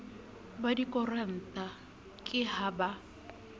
ba dikoranta ke ha ba